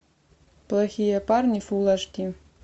плохие парни фулл аш ди